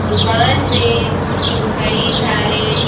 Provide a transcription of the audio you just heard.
दुकान में कई सारे--